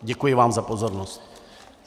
Děkuji vám za pozornost.